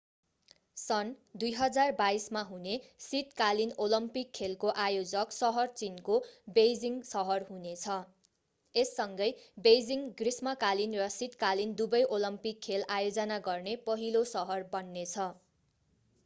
सन् 2022 मा हुने शीतकालीन ओलम्पिक खेलको आयोजक सहर चीनको बेइजिङ सहर हुने छ यससँगै बेइजिङ ग्रीष्मकालीन र शीतकालीन दुवै ओलम्पिक खेल आयोजना गर्ने पहिलो सहर बन्ने छ